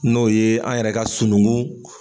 N'o ye an yɛrɛ ka sununkun.